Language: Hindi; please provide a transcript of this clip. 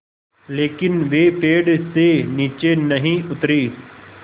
लेकिन वे पेड़ से नीचे नहीं उतरे